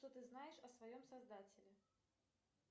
что ты знаешь о своем создателе